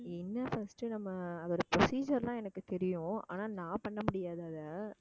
என்ன first நம்ம அதோட procedure எல்லாம் எனக்கு தெரியும் ஆனா நான் பண்ண முடியாது அதை